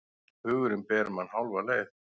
Hugurinn ber mann hálfa leið.